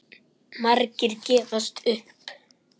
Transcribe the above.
Margir gefast upp.